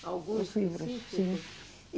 Algum específico?